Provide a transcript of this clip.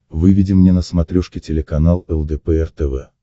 выведи мне на смотрешке телеканал лдпр тв